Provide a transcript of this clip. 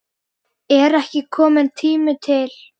Er ekki kominn tími til?